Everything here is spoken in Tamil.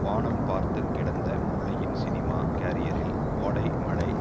வானம் பார்த்து கிடந்த முரளியின் சினிமா கேரியரில் கோடை மழை